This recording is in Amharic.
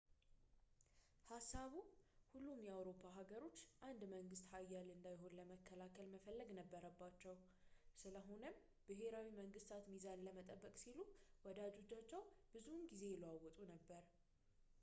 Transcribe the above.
ሀሳቡ ሁሉም የአውሮፓ ሀገሮች አንድ መንግስት ኃያል እንዳይሆን ለመከላከል መፈለግ ነበረባቸው ስለሆነም ብሄራዊ መንግስታት ሚዛን ለመጠበቅ ሲሉ ወዳጆቻቸውን ብዙውን ጊዜ ይለዋውጡ ነበር